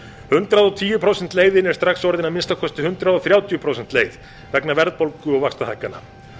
hundrað og tíu prósenta leiðin er strax orðin að að minnsta kosti hundrað þrjátíu prósenta leið vegna verðbólgu og vaxtahækkana